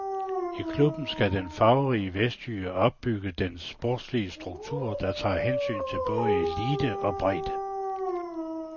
I klubben skal den farverige vestjyde opbygge en sportslig struktur, der tager hensyn til både elite og bredde.